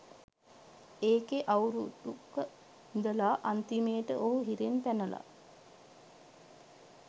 එකේ අවුරුදුක ඉඳලා අන්තිමේට ඔහු හිරෙන් පැනලා